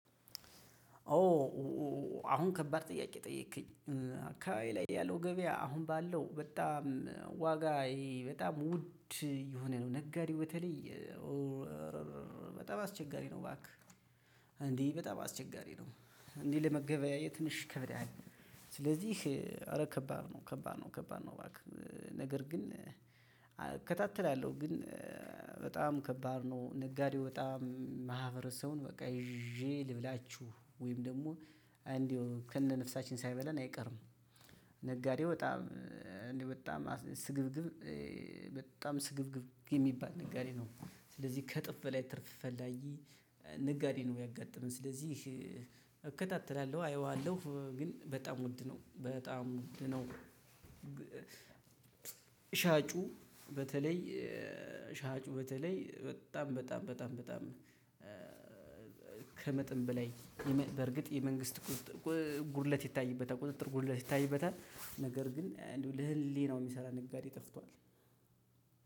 ኦ አሁን ከባድ ጥያቄ ጠየከኝ አካባቢዬ ላይ ያለው ገበያ አሁን ባለው በጣም ዋጋ ይሄ በጣም ውድ የሆነ ነው ነጋዴው በተለይ። በጣም አስቸጋሪ ነው ባክህ። እንዲህ በጣም አስቸጋሪ ነው እንዲህ ለመገበያየት ትንሽ ይከብዳል። ኧረ ከባድ ነው ከባድ ነው ከባድ ነው ባክህ። ነገር ግን እከታተላለሁ ግን በጣም ከባድ ነው። ነጋዴው በጣም ማህበረሰቡን በቃ ይዤ ልብላችሁ ወይም ደግሞ እንደው ከነ ነፍሳችን ሳይበላን አይቀርም። ነጋዴው በጣም እንደ በጣም ስግብግብ በጣም ስግብግብ የሚባል ነጋዴ ነው። ስለዚህ ከእጥፍ በላይ ትርፍ ፈላጊ ነጋዴ ነው ያጋጠመኝ ስለዚህ። እከታተላለሁ አየዋለሁ ግን በጣም ውድ ነው በጣም ውድ ነው። ሻጩ በተለይ ሻጩ በተለይ በጣም በጣም በጣም በጣም። ከመጥን በላይ በርግጥ የመንግስት ጉድለት ይታይበታል ቁጥጥር ጉድለት ይታይበታል። ነገር ግን ለህሌናው የሚሰራ ነጋዴ ጠፍቷል።